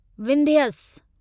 Vindhyas